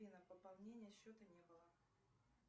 афина пополнения счета не было